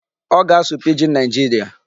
Ọ ga-asụ Pidgin Nigeria.